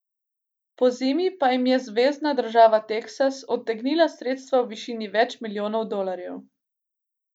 Pozimi pa jim je zvezna država Teksas odtegnila sredstva v višini več milijonov dolarjev.